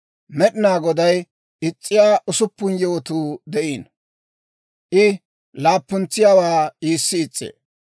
Med'inaa Goday is's'iyaa usuppun yewotuu de'iino; I laappuntsiyaawaa iissi is's'ee: